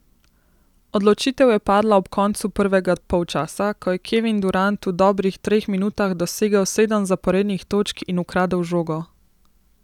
Odločitev je padla ob koncu prvega polčasa, ko je Kevin Durant v dobrih treh minutah dosegel sedem zaporednih točk in ukradel žogo.